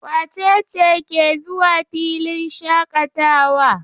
Wace ce ke zuwa filin shaƙatawa?